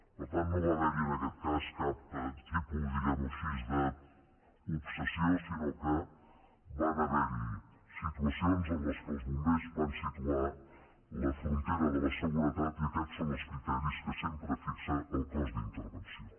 per tant no va haver hi en aquest cas cap tipus diguem ho així d’obsessió sinó que van haver hi situacions en què els bombers van situar la frontera de la seguretat i aquests són els criteris que sempre fixa el cos d’intervenció